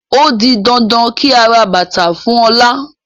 Ó di dandan kí a ra bàtàa fún Ọlá